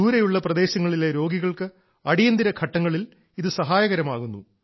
ദൂരെയുള്ള പ്രദേശങ്ങളിലെ രോഗികൾക്ക് അടിയന്തിര ഘട്ടങ്ങളിൽ ഇത് സഹായകരമാകുന്നു